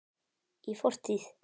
Í fortíð!